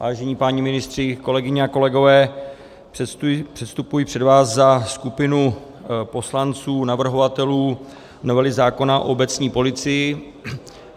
Vážení páni ministři, kolegyně a kolegové, předstupuji před vás za skupinu poslanců, navrhovatelů novely zákona o obecní policii.